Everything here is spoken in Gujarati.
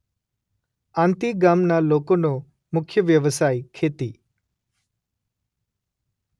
આંતી ગામના લોકોનો મુખ્ય વ્યવસાય ખેતી